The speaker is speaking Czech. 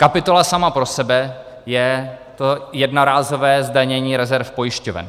Kapitola sama pro sebe je to jednorázové zdanění rezerv pojišťoven.